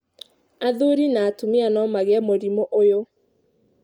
Athuri na atumia no magĩe mũrimũ ũyũ.